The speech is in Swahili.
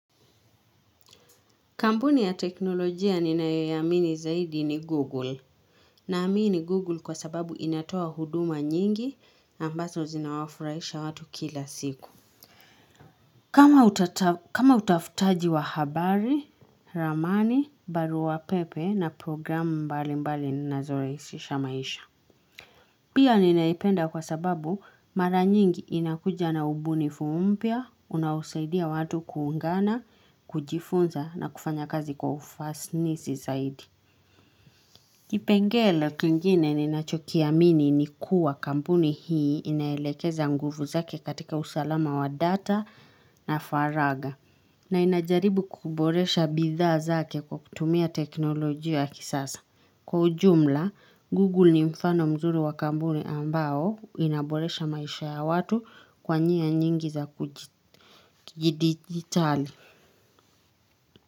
Kampuni ya teknolojia ninayoiamini zaidi ni Google. Naamini Google kwa sababu inatoa huduma nyingi ambazo zinawafurahisha watu kila siku. Kama utafutaji wa habari, ramani, barua pepe na programu mbalimbali zinazo rahisisha maisha. Pia ninaipenda kwa sababu mara nyingi inakuja na ubunifu mpya, unaosaidia watu kuungana, kujifunza na kufanya kazi kwa ufanisi zaidi. Kipengele kingine ninachokiamini ni kuwa kampuni hii inaelekeza nguvu zake katika usalama wa data na faragha. Na inajaribu kuboresha bidhaa zake kwa kutumia teknolojia ya kisasa. Kwa ujumla, Google ni mfano mzuri wakampuni ambao inaboresha maisha ya watu kwa njia nyingi za kidigitali.